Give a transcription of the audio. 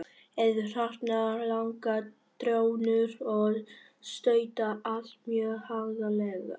Eru þarna langar trjónur og stautar, allt mjög haganlega gert.